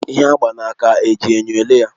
Ihe agba na aka eji enyo ele ya?